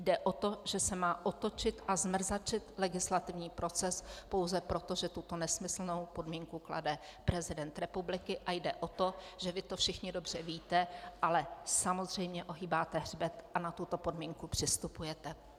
Jde o to, že se má otočit a zmrzačit legislativní proces pouze proto, že tuto nesmyslnou podmínku klade prezident republiky, a jde o to, že vy to všichni dobře víte, ale samozřejmě ohýbáte hřbet a na tuto podmínku přistupujete.